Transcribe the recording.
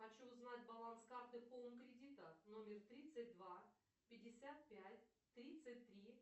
хочу узнать баланс карты хоум кредита номер тридцать два пятьдесят пять тридцать три